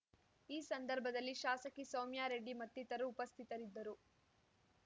ಈ ಸಂದರ್ಭದಲ್ಲಿ ಶಾಸಕಿ ಸೌಮ್ಯಾರೆಡ್ಡಿ ಮತ್ತಿತರು ಉಪಸ್ಥಿತರಿದ್ದರು